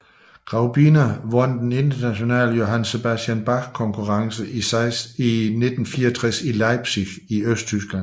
Graubiņa vandt den Internationale Johann Sebastian Bach Konkurrence i 1964 i Leipzig i Østtyskland